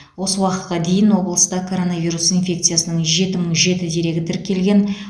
осы уақытқа дейін облыста коронавирус инфекциясының жеті мың жеті дерегі тіркелген